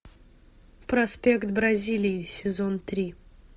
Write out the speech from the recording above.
проспект бразилии сезон три